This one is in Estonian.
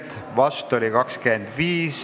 Istungi lõpp kell 13.21.